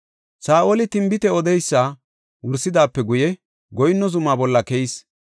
Saa7oli tinbite odeysa wursidaape guye goyinno zumaa bolla keyis.